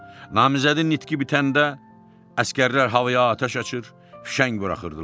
Namizədin nitqi bitəndə əsgərlər havaya atəş açır, fişəng buraxırdılar.